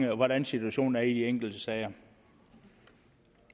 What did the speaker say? hvordan situationen er i de enkelte sager